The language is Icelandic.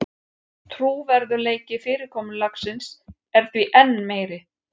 Trúverðugleiki fyrirkomulagsins er því enn meiri